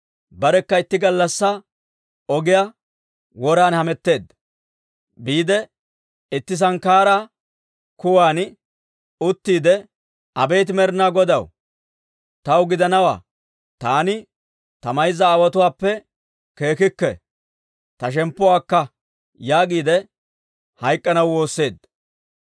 barekka itti gallassaa ogiyaa woran hametteedda. Biide itti sankkaaraa kuwan uttiide, «Abeet Med'inaa Godaw, taw gidanawaa; taani ta mayza aawotuwaappe keekkikke. Ta shemppuwaa akka» yaagiide hayk'k'anaw woosseedda.